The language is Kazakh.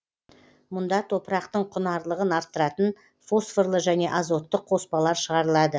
мұнда топырақтың құнарлығын арттыратын фосфорлы және азотты қоспалар шығарылады